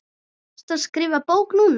Ertu að skrifa bók núna?